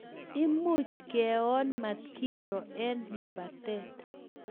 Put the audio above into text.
Imuch keon matkiro eng lapatet